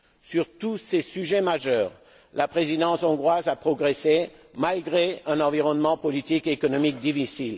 Sur tous ces sujets majeurs, la présidence hongroise a progressé, malgré un environnement politique et économique difficile.